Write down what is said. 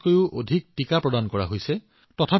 আৰু এই প্ৰচেষ্টাবোৰৰ মাজত আমাৰ আৰু এটা কথা মনত ৰাখিব লাগিব